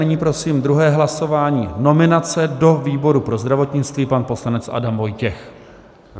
Nyní prosím druhé hlasování, nominace do výboru pro zdravotnictví - pan poslanec Adam Vojtěch.